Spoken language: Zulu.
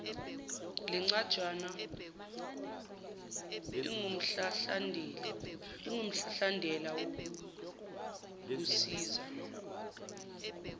lencwajana ingumhlahlandlela wokukusiza